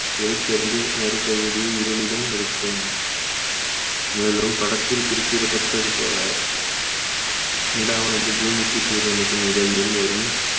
ஒளிச் சேர்ந்து மறுபகுதி இருளிலும் இருக்கும் மேலும் படத்தில் குறிப்பிடப்பட்டது போல நிலாவானதும் பூமிக்கும் சூரியனுக்கும் இடையில் வரும்